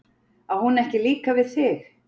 Á hún ekki líka við þig?